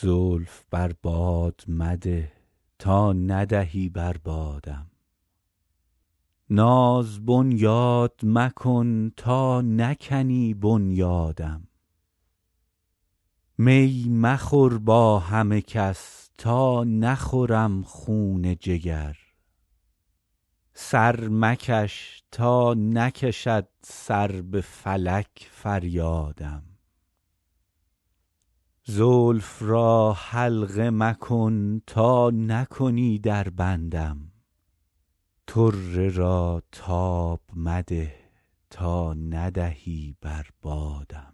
زلف بر باد مده تا ندهی بر بادم ناز بنیاد مکن تا نکنی بنیادم می مخور با همه کس تا نخورم خون جگر سر مکش تا نکشد سر به فلک فریادم زلف را حلقه مکن تا نکنی در بندم طره را تاب مده تا ندهی بر بادم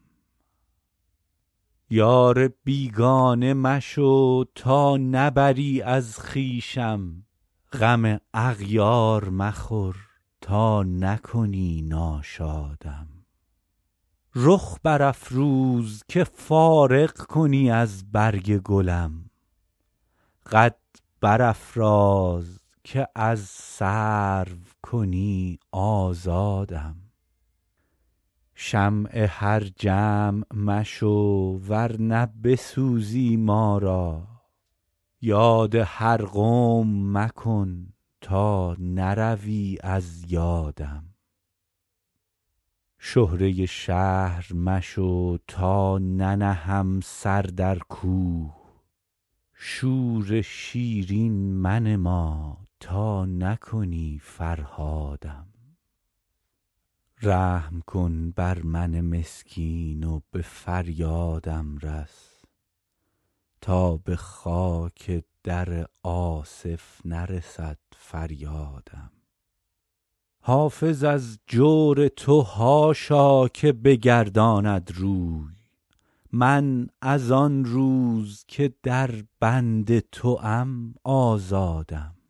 یار بیگانه مشو تا نبری از خویشم غم اغیار مخور تا نکنی ناشادم رخ برافروز که فارغ کنی از برگ گلم قد برافراز که از سرو کنی آزادم شمع هر جمع مشو ور نه بسوزی ما را یاد هر قوم مکن تا نروی از یادم شهره شهر مشو تا ننهم سر در کوه شور شیرین منما تا نکنی فرهادم رحم کن بر من مسکین و به فریادم رس تا به خاک در آصف نرسد فریادم حافظ از جور تو حاشا که بگرداند روی من از آن روز که در بند توام آزادم